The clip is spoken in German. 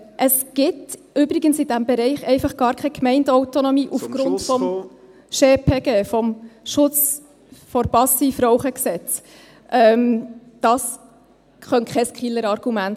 Es gibt übrigens in diesem Bereich aufgrund des Gesetzes zum Schutz vor Passivrauchen (SchPG) … gar keine Gemeindeautonomie.